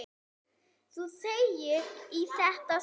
Þú þegir í þetta sinn!